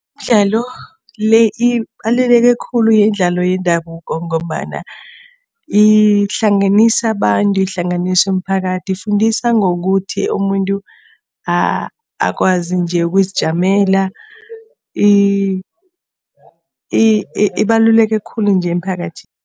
Imidlalo le ibaluleke khulu imidlalo yendabuko ngombana ihlanganisa abantu, ihlanganisa umphakathi. Ifundisa ngokuthi umuntu akwazi nje ukuzijamela ibaluleke khulu nje emphakathini.